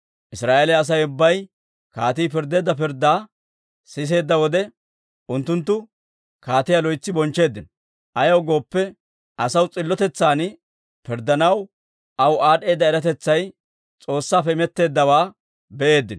Israa'eeliyaa Asay ubbay kaatii pirddeedda pirddaa siseedda wode, unttunttu kaatiyaa loytsi bonchcheeddino. Ayaw gooppe, asaw s'illotetsan pirddanaw aw aad'd'eeda eratetsay S'oossaappe imetteeddawaa be'eeddino.